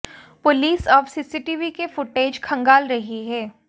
police अब CCTV के footage खंगाल रही है